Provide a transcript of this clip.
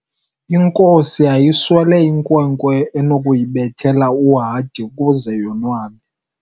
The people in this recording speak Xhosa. Inkosi yayiswele inkwenkwe enokuyibethela uhadi ukuze yonwabe.